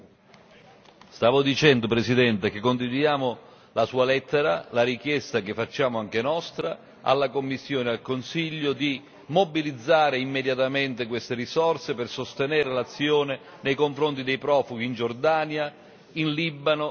Stavo dicendo, Presidente, che condividiamo la sua lettera, la richiesta che facciamo anche nostra alla Commissione e al Consiglio di mobilizzare immediatamente queste risorse per sostenere l'azione nei confronti dei profughi in Giordania, in Libano, in Turchia.